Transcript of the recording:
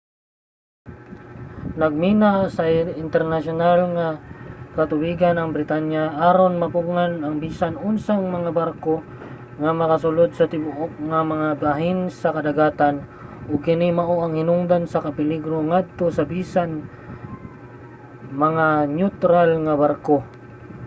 nagmina sa internasyonal nga katubigan ang britanya aron mapugngan ang bisan unsang mga barko nga makasulud sa tibuok nga mga bahin sa kadagatan ug kini mao ang hinungdan sa kapeligro ngadto sa bisan mga neutral nga barko